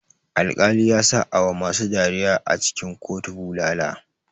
Alkali yasa awa masu dariya a cikin kotu bulala.